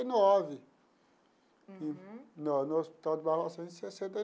E nove. Uhum. E no no hospital de Barbacena em sessenta.